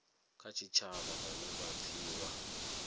kha tshitshavha vhane vha pfiwa